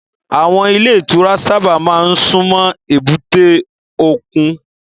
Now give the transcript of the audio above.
Àwọn ilé ìtura sábà máa ń súnmọ́ èbúté òkun.